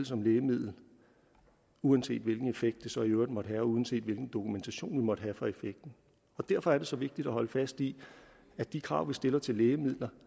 som lægemiddel uanset hvilken effekt det så i øvrigt måtte have og uanset hvilken dokumentation der måtte være for effekten derfor er det så vigtigt at holde fast i at de krav vi stiller til lægemidler